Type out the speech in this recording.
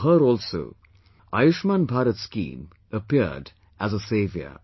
For her also, 'Ayushman Bharat' scheme appeared as a saviour